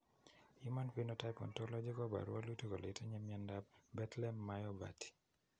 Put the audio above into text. Human Phenotype Ontology koporu wolutik kole itinye Miondap Bethlem myopathy.